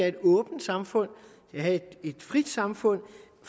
et åbent samfund have et frit samfund